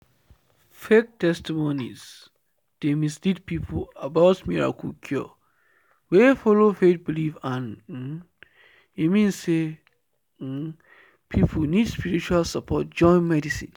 “fake testimonies dey mislead people about miracle cure wey follow faith belief and um e mean say um people need spiritual support join medicine.